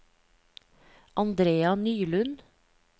Andrea Nylund